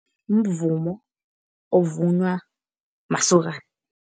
Mvumo ovunywa masokana.